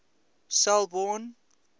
selborne